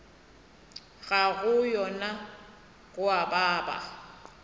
ga yona go a baba